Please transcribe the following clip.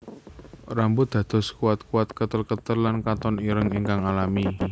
Rambut dados kuatkuat ketelketel lan katon ireng ingkang alami